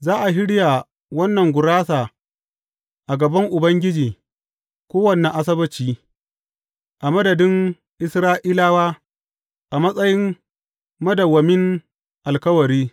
Za a shirya wannan gurasa a gaban Ubangiji kowane Asabbaci, a madadin Isra’ilawa a matsayin madawwamin alkawari.